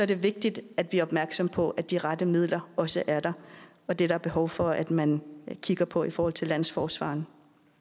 det vigtigt at vi er opmærksomme på at de rette midler også er der og det er der behov for at man kigger på i forhold til landsforsvareren